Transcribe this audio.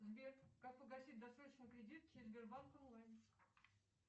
сбер как погасить досрочно кредит через сбербанк онлайн